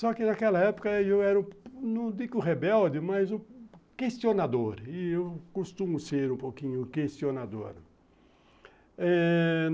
Só que naquela época eu era, não digo rebelde, mas questionador, e eu costumo ser um pouquinho questionador eh...